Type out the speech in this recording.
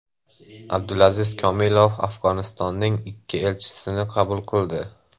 Abdulaziz Komilov Afg‘onistonning ikki elchisini qabul qildi.